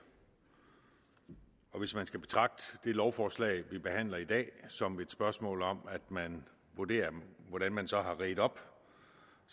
og hvis man skal betragte det lovforslag vi behandler i dag som et spørgsmål om at man vurderer hvordan man så har redt op